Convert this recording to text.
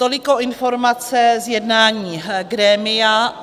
Toliko informace z jednání grémia.